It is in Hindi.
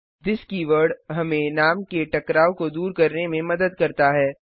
थिस कीवर्ड हमें नाम के टकराव को दूर करने में मदद करता है